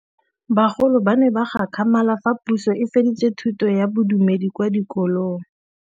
Bagolo ba ne ba gakgamala fa Pusô e fedisa thutô ya Bodumedi kwa dikolong.